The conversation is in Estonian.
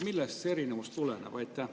Millest see erinevus tuleneb?